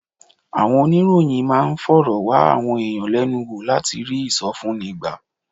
Àwọn oníròyìn máa ń fọ̀rọ̀ wá àwọn èèyàn lẹ́nu wò láti rí ìsọfúnni gbà